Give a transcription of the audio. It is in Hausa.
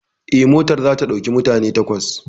Eh, motar za ta ɗauki mutane takwas